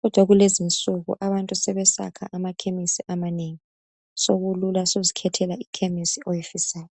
Kodwa kulezi insuku abantu sebeyakha amakhemisi amanengi sokulula suzikhethela ikhemisi oyifisayo.